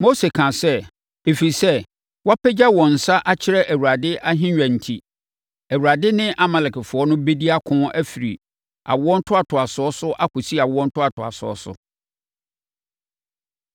Mose kaa sɛ, “Ɛfiri sɛ wɔapagya wɔn nsa akyerɛ Awurade ahennwa enti, Awurade ne Amalekfoɔ bɛdi ako afiri awo ntoatoasoɔ so akɔsi awoɔ ntoatoasoɔ so.”